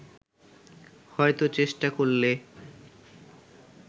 হয়তো চেষ্টা করলে